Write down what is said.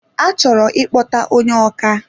A chọrọ ikpọta ónyé ọkà